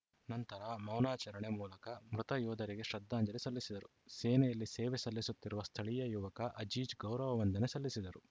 ನಂತರ ಮೌನಾಚರಣೆ ಮೂಲಕ ಮೃತ ಯೋಧರಿಗೆ ಶ್ರದ್ಧಾಂಜಲಿ ಸಲ್ಲಿಸಿದರು ಸೇನೆಯಲ್ಲಿ ಸೇವೆ ಸಲ್ಲಿಸುತ್ತಿರುವ ಸ್ಥಳೀಯ ಯುವಕ ಅಜೀಜ್‌ ಗೌರವ ವಂದನೆ ಸಲ್ಲಿಸಿದರು